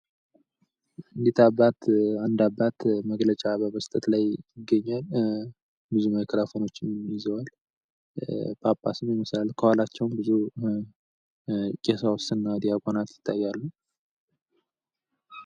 እኒህ አባት አንድ አባት መግለጫ በመስጠት ላይ ይገኛሉ። ብዙ ማይክራፎኖችን ይዘዋል። ከኋላቸውም ብዙ ቀሳውስትና ዲያቆናት ይታያሉ።